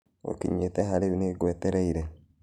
Ukinyite ha riu nĩngwetereire